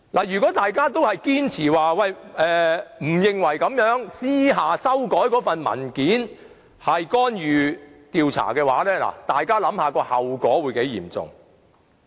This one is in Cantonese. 如果大家堅持不認為私下修改文件是干預調查的話，大家試想象後果會有多嚴重。